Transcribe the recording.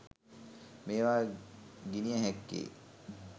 මේවා ගිණිය හැක්කේ